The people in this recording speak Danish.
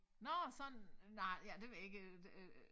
Nårh sådan nej ja det ved jeg ikke øh det øh